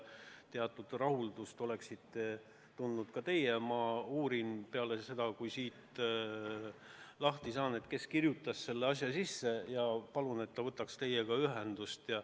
Aga et te teatud rahuldust tunneksite, ma uurin peale seda, kui siit lahti saan, kes kirjutas selle asja meie programmi sisse, ja palun, et ta võtaks teiega ühendust.